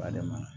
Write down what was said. Ba de ma